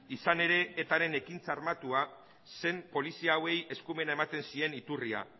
izan ere etaren ekintza armatua zen polizia hauei eskumena ematen zien iturria